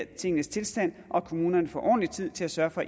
tingenes tilstand og at kommunerne får ordentlig tid til at sørge for